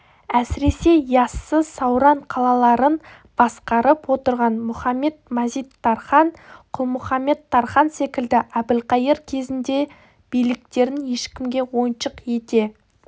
әсіресе яссы сауран қалаларын басқарып отырған мұхамед-мазит-тархан құлмұхамед-тархан секілді әбілқайыр кезінде де биліктерін ешкімге ойыншық ете